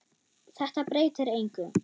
Þetta breytir engu.